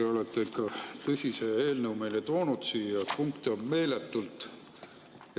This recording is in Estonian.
Te olete ikka tõsise eelnõu meile toonud siia, punkte on siin meeletult.